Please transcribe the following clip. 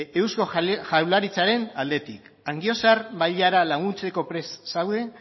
eusko jaurlaritzaren aldetik angiozar bailara laguntzeko prest zaude